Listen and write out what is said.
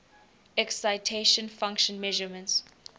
excitation function measurements